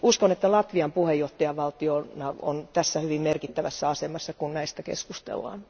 Uskon, että Latvia puheenjohtajavaltiona on hyvin merkittävässä asemassa, kun näistä asioista keskustellaan.